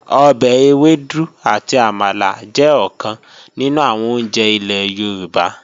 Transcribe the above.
Ọbẹ̀ ewédú àti àmàlà jẹ́ ọ̀kan nínú àwọn oúnjẹ ilẹ̀ Yorùbá